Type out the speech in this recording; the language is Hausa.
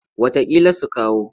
Wataƙila su kawo.